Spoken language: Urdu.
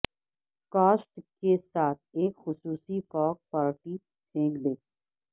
کاسٹ کے ساتھ ایک خصوصی کاک پارٹی پھینک دیں